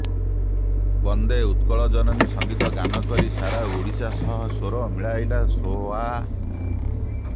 ବନ୍ଦେ ଉତ୍କଳ ଜନନୀ ସଂଗୀତ ଗାନ କରି ସାରା ଓଡିଶା ସହ ସ୍ୱର ମିଳାଇଲା ସୋଆ